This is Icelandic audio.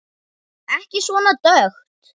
Ekki svona dökkt.